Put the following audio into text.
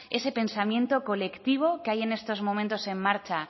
ese pensamiento colectivo que hay en estos momentos en marcha